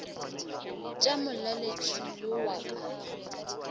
tša molaletši yo wa ka